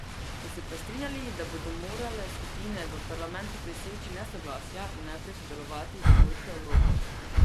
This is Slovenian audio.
So se pa strinjali, da bodo morale skupine v parlamentu preseči nesoglasja in naprej sodelovati za boljšo Evropo.